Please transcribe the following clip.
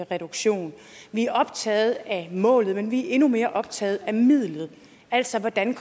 reduktion vi er optaget af målet men vi er endnu mere optaget af midlet altså af hvordan